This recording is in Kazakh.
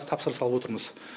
тапсырыс алып отырмыз